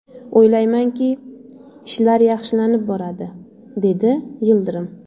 O‘ylaymanki, ishlar yaxshilanib boradi”, dedi Yildirim.